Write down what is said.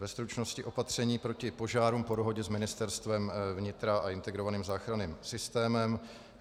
Ve stručnosti: opatření proti požárům po dohodě s Ministerstvem vnitra a integrovaným záchranným systémem.